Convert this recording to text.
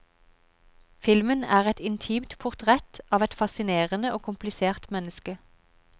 Filmen er et intimt portrett av et fascinerende og komplisert menneske.